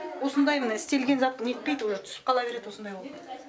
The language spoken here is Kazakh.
осындай міне істелген зат нетпейт уже түсіп қала берет осындай болып